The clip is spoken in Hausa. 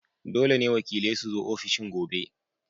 Dole ne wakilai su zo ofishin gobe!